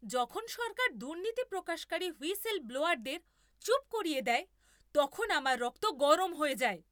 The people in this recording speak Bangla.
যখন সরকার দুর্নীতি প্রকাশকারী হুইসেল ব্লোয়ারদের চুপ করিয়ে দেয় তখন আমার রক্ত গরম হয়ে যায়।